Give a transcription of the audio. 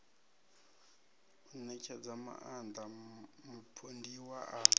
u ṋetshedza maaṋda mupondiwa a